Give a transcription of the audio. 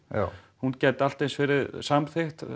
hún gæti allt eins verið samþykkt